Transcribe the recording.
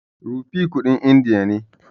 Rupee kuɗin indiya ne.